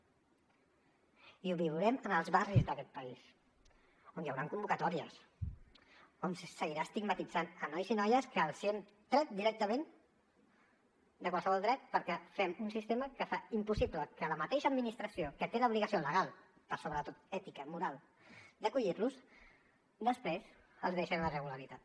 i ho viurem en els barris d’aquest país on hi hauran convocatòries on se seguirà estigmatitzant nois i noies que els hem tret directament de qualsevol dret perquè fem un sistema que fa impossible que la mateixa administració que té l’obligació legal però sobretot ètica moral d’acollir los després els deixa en la irregularitat